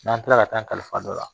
N'an taara ka taa an kalifa don a la